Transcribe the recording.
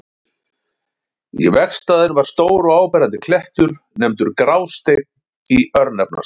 Í vegstæðinu var stór og áberandi klettur, nefndur Grásteinn í örnefnaskrá.